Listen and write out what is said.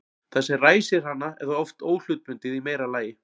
það sem ræsir hana er þá oft óhlutbundið í meira lagi